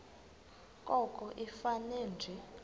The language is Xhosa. koko ifane nje